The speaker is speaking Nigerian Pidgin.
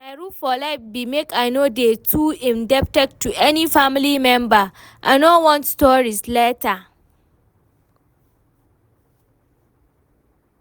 My rule for life be make I no dey too indebted to any family member, I no want stories later